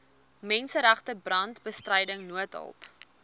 menseregte brandbestryding noodhulp